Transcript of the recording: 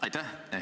Aitäh!